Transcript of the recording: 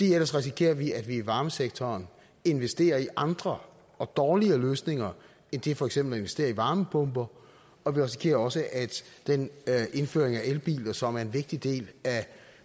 ellers risikerer vi at vi i varmesektoren investerer i andre og dårligere løsninger end det for eksempel at investere i varmepumper og vi risikerer også at den indførelse af elbiler som er en vigtig del af